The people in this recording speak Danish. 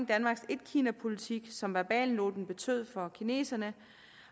danmarks etkinapolitik som verbalnoten betød for kineserne